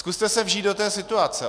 Zkuste se vžít do té situace.